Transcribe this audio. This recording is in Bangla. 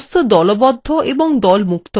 বস্তু দলবদ্ধ এবং দল মুক্ত করা